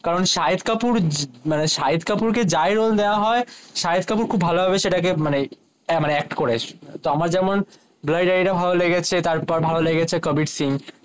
কারণ শহীদ কাপুর কে যাই রোলে দেয়া হয়ে শহীদ কাপুর খুব ভালো ভাবে সেটা কে মানে একট করে তোমার যেমন ব্ল্যাড্ডি ড্যাডি টা ভালো লেগেছে তার পর ভালো লেগেছে কবির সিং